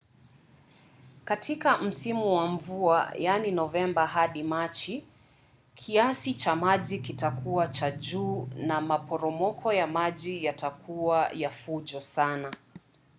katika msimu wa mvua novemba hadi machi kiasi cha maji kitakuwa cha juu na maporomoko ya maji yatakuwa ya fujo sana